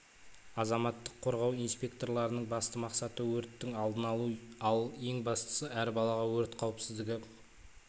азаматтық қорғау инспекторларының басты мақсаты өрттің алдын алу ал ең бастысы әр балаға өрт қауіпсіздігі